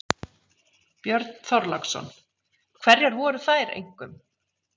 Björn Þorláksson: Hverjar voru þær einkum?